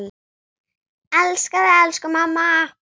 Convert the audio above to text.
Elska þig, elsku mamma!